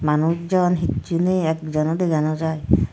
manus jon hissu nei ek jon o dega naw jaai.